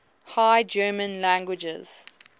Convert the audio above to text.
high german languages